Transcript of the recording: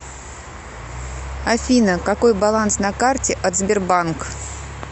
афина какой баланс на карте от сбербанк